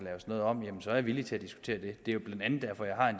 laves noget om er jeg villig til at diskutere det det er jo blandt andet derfor jeg